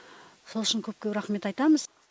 сол үшін көп көп рахмет айтамыз